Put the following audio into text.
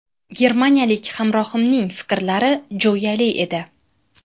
Germaniyalik hamrohimning fikrlari jo‘yali edi.